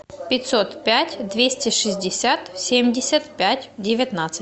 пятьсот пять двести шестьдесят семьдесят пять девятнадцать